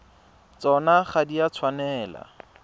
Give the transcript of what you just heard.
tsona ga di a tshwanela